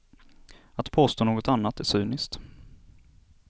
Att påstå något annat är cyniskt.